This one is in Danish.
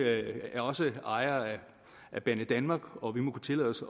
er også ejere af banedanmark og vi må kunne tillade os